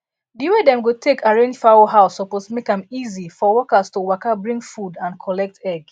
dey way dem go take arranged fowl house suppose make am easy for workers to waka bring foodd and collect egg